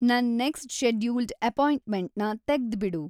ನನ್‌ next scheduled ಅಪಾಯಿಂಟ್ಮೆಂಟ್‌ನ ತೆಗ್ದ್‌ಬಿಡು